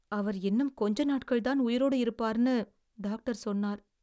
அவர் இன்னும் கொஞ்ச நாட்கள்தான் உயிரோடு இருப்பார்னு டாக்டர் சொன்னார்.